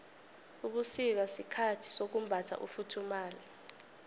ubusika sikhathi sokumbatha ufuthumale